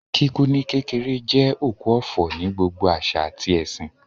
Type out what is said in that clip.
Kíkú ní kékeré jẹ́ òkú ọ̀fọ̀ ní gbogbo àṣà àti ẹ̀sìn